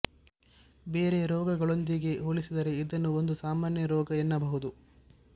ಬೇರೆ ರೋಗಗಳೊಂದಿಗೆ ಹೋಲಿಸಿದರೆ ಇದನ್ನು ಒಂದು ಸಾಮಾನ್ಯ ರೋಗ ಎನ್ನಬಹುದು